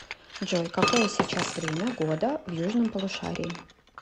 джой какое сейчас время года в южном полушарии